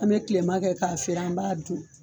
An mɛ kilemakɛ k'a feere an b'a dun